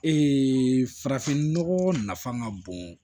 farafin nɔgɔ nafa ka bon